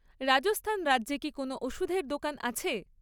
রাজস্থান রাজ্যে কি কোনও ওষুধের দোকান আছে?